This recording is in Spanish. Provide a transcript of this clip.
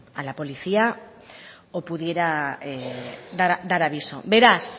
a la policía o pudiera dar aviso beraz